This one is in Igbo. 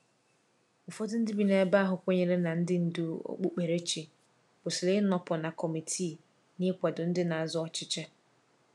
Ụfọdụ ndị bi n’ebe ahụ kwenyere na ndị ndú okpukperechi kwesịrị ịnọpụ na kọmitii n’ịkwado ndị na-azọ ọchịchị.